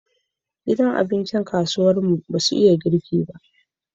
Gidan abincin kasuwar mu basu iya girki ba